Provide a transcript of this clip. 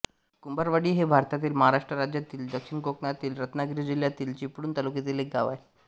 कुंभारवाडी हे भारतातील महाराष्ट्र राज्यातील दक्षिण कोकणातील रत्नागिरी जिल्ह्यातील चिपळूण तालुक्यातील एक गाव आहे